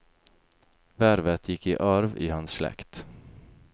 Vervet gikk i arv i hans slekt.